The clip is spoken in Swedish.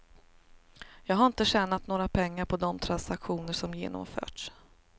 Jag har inte tjänat några pengar på de transaktioner som genomförts.